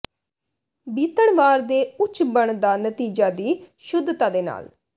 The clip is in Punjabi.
ਬੀਤਣ ਵਾਰ ਦੇ ਉੱਚ ਬਣ ਦਾ ਨਤੀਜਾ ਦੀ ਸ਼ੁੱਧਤਾ ਦੇ ਨਾਲ